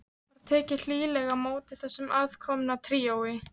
Var tekið hlýlega á móti þessu aðkomna tríói.